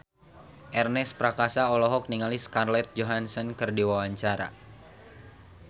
Ernest Prakasa olohok ningali Scarlett Johansson keur diwawancara